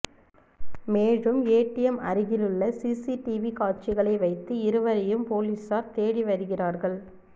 மேலும் ஏடிஎம் அருகில் உள்ள சிசிடிவி காட்சிகளை வைத்து இருவரையும் பொலிசார் தேடி வருகிறார்கள்